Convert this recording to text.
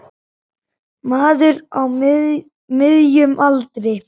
Maður á miðjum aldri.